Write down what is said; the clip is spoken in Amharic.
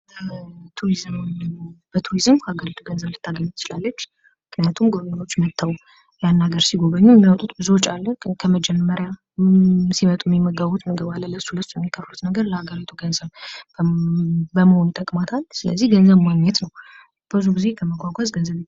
ቱሪዝም: በቱሪዝም ሀገሪቱ ገንዘብ ልታገኝ ትችላለች ምክንያቱም ጎብኝዎች መጥተው ያን ሀገር ሲጎበኙ የሚያወጡት ብዙ ወጪ አለ:: ከመጀመሪያ ሲመጡ የሚመገቡት ምግብ አለ ለሱ ለሱ የሚከፍሉት ነገር ለሀገሪቱ ገንዘብ በመሆን ይጠቅማታል ስለዚህ ገንዘብ ማግኘት ነው::ብዙውን ጊዜ ከመጕጕዝ ገንዘብ ይገኛል::